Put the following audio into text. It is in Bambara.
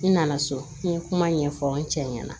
N nana so n ye kuma ɲɛfɔ n cɛ ɲɛna